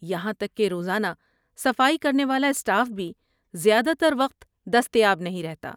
یہاں تک کہ روزانہ صفائی کرنے والا اسٹاف بھی زیادہ تر وقت دستیاب نہیں رہتا۔